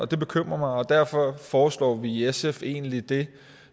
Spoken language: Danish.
det bekymrer mig og derfor foreslår vi i sf egentlig det